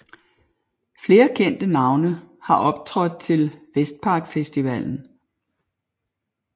Flere kendte navne har optrådt til Vestpark Festivalen